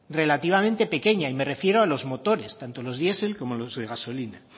relativamente pequeña y me refiero a los motores tanto los diesel como los de gasolina